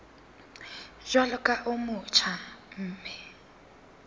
jwalo ka o motjha mme